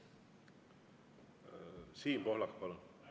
Siim Pohlak, palun!